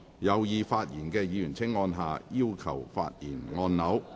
有意發言的議員請按下"要求發言"按鈕。